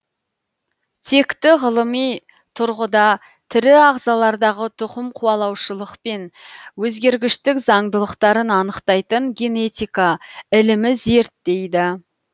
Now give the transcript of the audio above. текті ғылыми тұрғыда тірі ағзалардағы тұқымқуалаушылық пен өзгергіштік заңдылықтарын анықтайтын генетика ілімі зерттейді